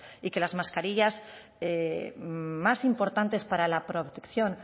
y que las mascarillas más importantes para la protección